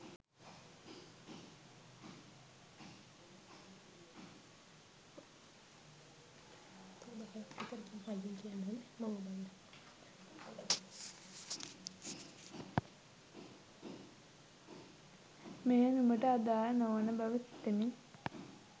මෙය නුඹට අදාළ නොවන බව සිතමි